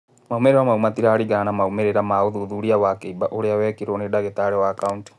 Moimĩrĩra mau matiraringa na moimĩrĩra ma ũthuthuria wa kĩimba ũrĩa wekirũo nĩ ndagĩtari wa Kaũntĩ.